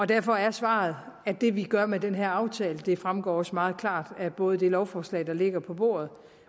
derfor er svaret at det vi gør med den her aftale det fremgår også meget klart både af det lovforslag der ligger på bordet